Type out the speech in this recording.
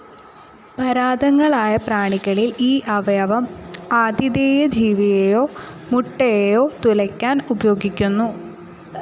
പരാദങ്ങളായ പ്രാണികളിൽ ഈ അവയവം ആതിഥേയ ജീവിയേയോ മുട്ടയേയോ തുലയ്ക്കാൻ ഉപയോഗിക്കുന്നു.